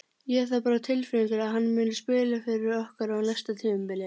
Ég hef það bara á tilfinningunni að hann muni spila fyrir okkur á næsta tímabili.